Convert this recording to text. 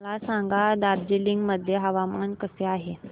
मला सांगा दार्जिलिंग मध्ये हवामान कसे आहे